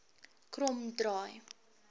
kromdraai